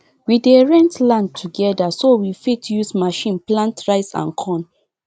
we dey rent land together so we fit use machine plant rice and corn